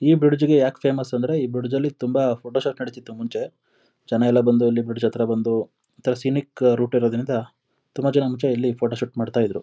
ಈ ಬ್ರಿಜ್ ಗೆ ಯಾಕೆ ಫೇಮಸ್ ಅಂದ್ರೆ ಈ ಬ್ರಿಜ್ ಲಿ ತುಂಬಾ ಫೋಟೋ ಶೂಟ್ ನಡೀತಿತ್ತು ಮುಂಚೆ ಜನ ಎಲ್ಲ ಬಂದು ಈ ಬ್ರಿಜ್ ಹತ್ರ ಬಂದು ಒಂತರ ಸಿನಿಕ್ ರೂಟ್ ಇರೋದ್ರಿಂದ ತುಂಬಾ ಜನ ಮುಂಚೆ ಇಲ್ಲಿ ಫೋಟೋ ಶೂಟ್ ಮಾಡ್ತಿದ್ರು.